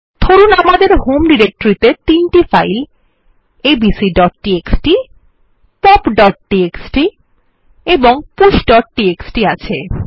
ধরুন আমাদের হোম ডিরেক্টরিতে ৩ টি ফাইল abcটিএক্সটি popটিএক্সটি এবং pushটিএক্সটি আছে